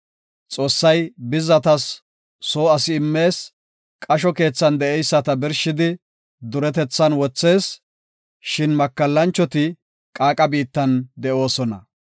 Xoossay bizzatas soo asi immees; qasho keethan de7eyisata birshidi, duretethan wothees; shin makallanchoti qaaqa biittan de7oosona.